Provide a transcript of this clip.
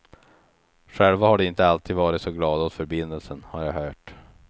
Själva har de inte alltid varit så glada åt förbindelsen, har jag hört.